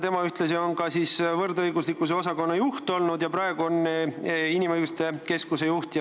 Tema on ühtlasi olnud ka soolise võrdõiguslikkuse osakonna juht, praegu juhib ta Eesti Inimõiguste Keskust.